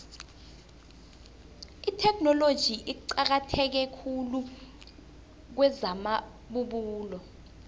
itheknoloji iqakatheke khulu kwezamabubulo